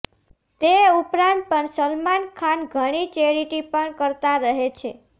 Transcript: તે ઉપરાંત પણ સલમાન ખાન ઘણી ચેરીટી પણ કરતા રહે છે